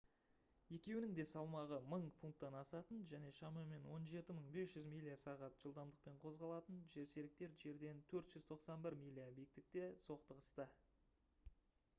екеуінің де салмағы 1000 фунттан асатын және шамамен 17 500 миля/сағат жылдамдықпен қозғалатын жерсеріктер жерден 491 миля биіктікте соқтығысты